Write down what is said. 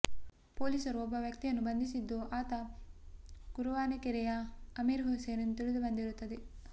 ಪೊಲೀಸರು ಒಬ್ಬ ವ್ಯಕ್ತಿಯನ್ನು ಬಂಧಿಸಿದ್ದು ಆತ ಗುರುವಾನೆಕೆರೆಯ ಅಮೀರ್ ಹುಸೈನ್ ಎಂದು ತಿಳಿದು ಬಂದಿರುತ್ತದೆ